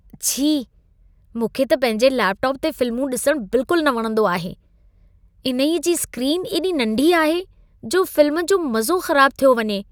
छी! मूंखे त पंहिंजे लेपटॉप ते फ़िल्मूं ॾिसणु बिल्कुलु न वणंदो आहे। इन्हईंअ जी स्क्रीनु एॾी नंढी आहे, जो फ़िल्म जो मज़ो ख़राबु थियो वञे।